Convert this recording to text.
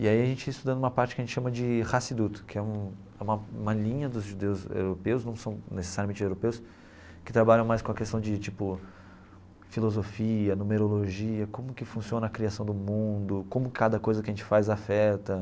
E aí a gente ia estudando uma parte que a gente chama de Hasidut, que é um uma uma linha dos judeus europeus, não são necessariamente europeus, que trabalham mais com a questão de tipo filosofia, numerologia, como que funciona a criação do mundo, como cada coisa que a gente faz afeta.